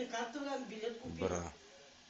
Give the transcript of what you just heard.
бра